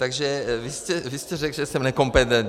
Takže vy jste řekl, že jsem nekompetentní.